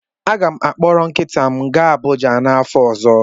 M ga-akpọrọ nkịta m gaa Abụja n'afọ ọzọ.